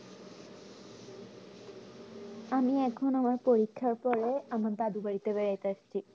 আমি এখন আমার পরীক্ষার পরে আমার দাদী বাড়িতে বেড়াতে আসছি